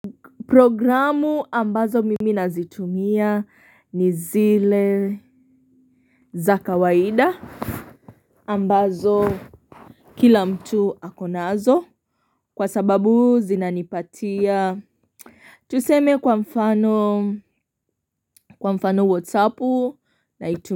Programu ambazo mimi nazitumia ni zile za kawaida ambazo kila mtu ako nazo, kwa sababu zinanipatia Tuseme kwa mfano kwa mfano whatsappu naitumia.